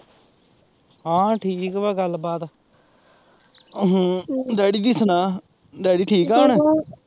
ਹਾਂ ਠੀਕ ਵਾਂ ਗੱਲ ਬਾਤ ਹਮ ਡੈਡੀ ਦੀ ਸੁਣਾ, ਡੈਡੀ ਠੀਕ ਐ ਹੁਣ